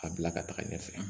A bila ka taga ɲɛfɛ